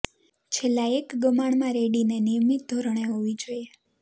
છેલ્લા એક ગમાણ માં રેડીને નિયમિત ધોરણે હોવી જોઈએ